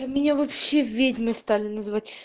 а меня вообще ведьмой стали называть